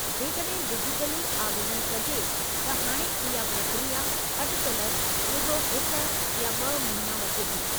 जेकड॒हिं डिजिटली आवेदनु कजे त हाणे इहा प्रक्रिया अटिकल रुॻो हिकु या ब॒ महीना वठे थी।